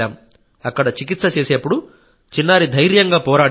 అక్కడ చికిత్స చేసేప్పుడు చిన్నారి ధైర్యంగా పోరాడింది